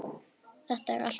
Er þetta allt og sumt?